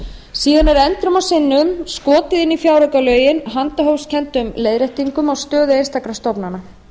og sinnum skotið inn í fjáraukalögin handahófskenndum leiðréttingum á stöðu einstakra stofnana